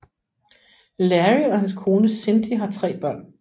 Larry og hans kone Cindi har tre børn